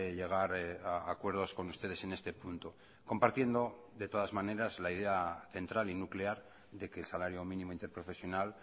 llegar a acuerdos con ustedes en este punto compartiendo de todas maneras la idea central y nuclear de que el salario mínimo interprofesional